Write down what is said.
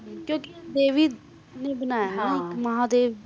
ਕਿ ਕ ਦੇਵੀ ਨੇ ਬਨਾਯਾ ਨੇ ਇਕ ਮਹਾਦੇਵ ਨੇ